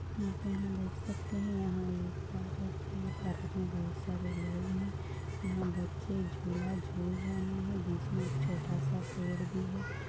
यहाँ पे हम देख सकते हैं यहाँ एक पार्क हैं पार्क में बहुत सारे लोग हैं यहा बच्चे झूला झूल रहे हैं बीच मे एक छोटा सा पड़े भी है।